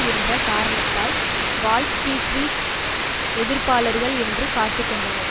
என்ற காரணத்தால் Wall Street எதிர்ப்பாளர்கள் என்று காட்டிக் கொண்டனர்